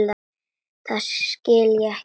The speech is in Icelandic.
Það skil ég ekki.